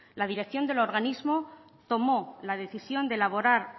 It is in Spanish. la dirección del organismo tomó la decisión de elaborar